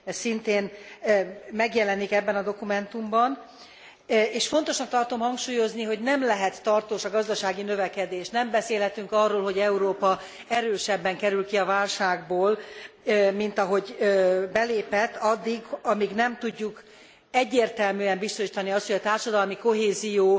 Ez szintén megjelenik ebben a dokumentumban, és fontosnak tartom hangsúlyozni, hogy nem lehet tartós a gazdasági növekedés, nem beszélhetünk arról, hogy Európa erősebben kerül ki a válságból, mint ahogy belépett addig, amíg nem tudjuk egyértelműen biztosítani azt, hogy a társadalmi kohézió